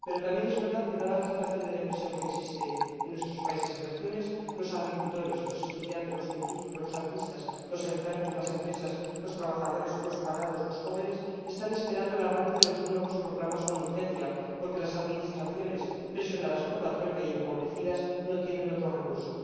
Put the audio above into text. Pero también es verdad que, dada la situación de depresión que existe en nuestros países y regiones, los agricultores, los estudiantes, los científicos, los artistas, los enfermos, las empresas, los trabajadores, los parados y los jóvenes están esperando el arranque de los nuevos programas con urgencia, porque las administraciones, presionadas por la troika y empobrecidas, no tienen otro recurso.